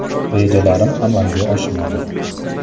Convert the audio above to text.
Rejalarim amalga oshmadi.